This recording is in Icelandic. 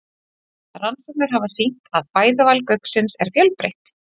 Rannsóknir hafa sýnt að fæðuval gauksins er fjölbreytt.